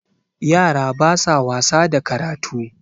yara ba sa wasa da karatu